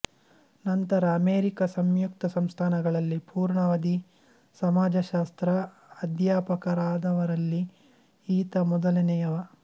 ನಂತರ ಅಮೇರಿಕ ಸಂಯುಕ್ತ ಸಂಸ್ಥಾನಗಳಲ್ಲಿ ಪುರ್ಣಾವಧಿ ಸಮಾಜಶಾಸ್ತ್ರ ಅಧ್ಯಾಪಕರಾದವರಲ್ಲಿ ಈತ ಮೊದಲನೆಯವ